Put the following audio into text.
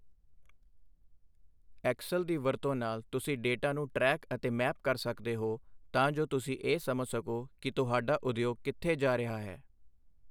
Excel ਦੀ ਵਰਤੋਂ ਨਾਲ, ਤੁਸੀਂ ਡੇਟਾ ਨੂੰ ਟਰੈਕ ਅਤੇ ਮੈਪ ਕਰ ਸਕਦੇ ਹੋ ਤਾਂ ਜੋ ਤੁਸੀਂ ਇਹ ਸਮਝ ਸਕੋ ਕਿ ਤੁਹਾਡਾ ਉਦਯੋਗ ਕਿੱਥੇ ਜਾ ਰਿਹਾ ਹੈ।